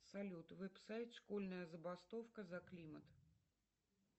салют веб сайт школьная забастовка за климат